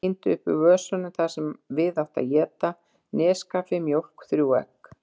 Tíndi upp úr vösunum það sem við átti að éta: neskaffi, mjólk, þrjú egg.